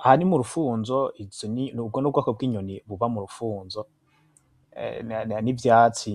Aha ni m’urufunzo. ubwo n’ubwoko bw’inyoni biba m’urufunzo n’ivyatsi